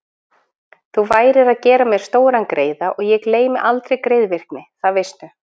Þú værir að gera mér stóran greiða og ég gleymi aldrei greiðvikni, það veistu.